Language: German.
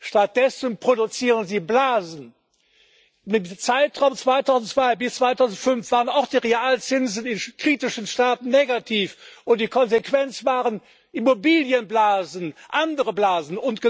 Stattdessen produzieren Sie Blasen. Im Zeitraum 2002 bis 2005 waren auch die Realzinsen in kritischen Staaten negativ, und die Konsequenz waren Immobilienblasen, andere Blasen.